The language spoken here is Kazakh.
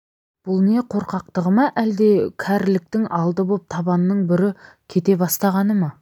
бұл не қорқақтығы ма әлде кәріліктің алды боп табанының бүрі кете бастағаны ма